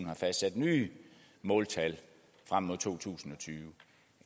har fastsat nye måltal frem mod 2020